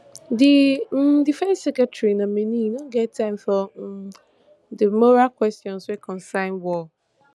di um defence secretary nominee no get time for um di moral kwesions wey concern war